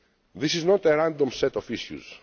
This is not a random set of issues.